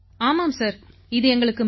ஆமாம் சார் இது எங்களுக்கு மிகவும்